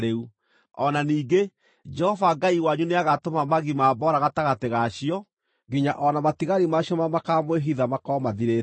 O na ningĩ, Jehova Ngai wanyu nĩagatũma magi ma mboora gatagatĩ ga cio, nginya o na matigari ma cio marĩa makaamwĩhitha makorwo mathirĩte.